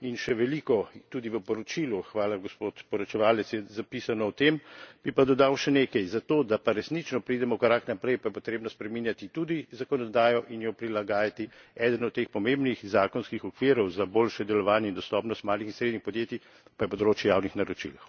In še veliko, tudi v poročilu, hvala gospod poročevalec, je zapisano o tem, bi pa dodal še nekaj zato, da pa resnično pridemo korak naprej, pa je potrebno spreminjati tudi zakonodajo in jo prilagajati. Eden od teh pomembnih zakonskih okvirov za boljše delovanje in dostopnost malih in srednjih podjetij pa je področje javnih naročil.